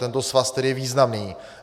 Tento svaz tedy je významný.